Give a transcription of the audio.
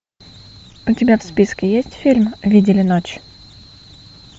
у тебя в списке есть фильм видели ночь